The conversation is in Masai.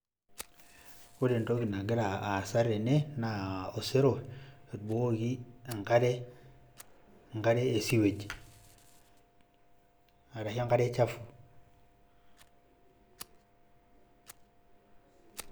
Ore entoki nagira aasa tene naa osero otubukokoki enkare e sewage arashu enkare chafu.